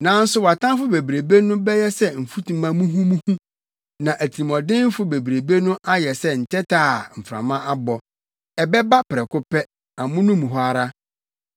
Nanso wʼatamfo bebrebe no bɛyɛ sɛ mfutuma muhumuhu, na atirimɔdenfo bebrebe no ayɛ sɛ ntɛtɛ a mframa abɔ. Ɛbɛba prɛko pɛ, amono mu hɔ ara.